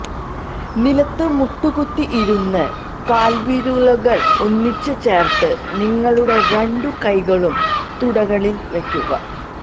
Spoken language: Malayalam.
നിലത്ത് മുട്ടുകുത്തി ഇരുന്ന് കാല്വിരലുകള് ഒന്നിച്ച് ചേര്ത്ത് നിങ്ങളുടെ രണ്ടു കൈകളും തുടകളില് വയ്ക്കുക